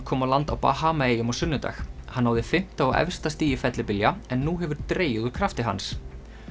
kom á land á Bahamaeyjum á sunnudag hann náði fimmta og efsta stigi fellibylja en nú hefur dregið úr krafti hans